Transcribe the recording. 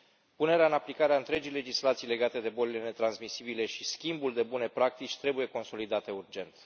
Punerea în aplicare a întregii legislații legate de bolile netransmisibile și schimbul de bune practici trebuie consolidată urgent.